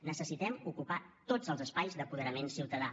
necessitem ocupar tots els espais d’apoderament ciutadà